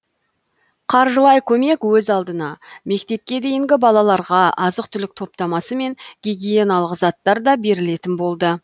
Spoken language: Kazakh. қаржылай көмек өз алдына мектепке дейінгі балаларға азық түлік топтамасы мен гигиеналық заттар да берілетін болды